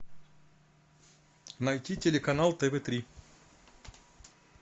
найти телеканал тв три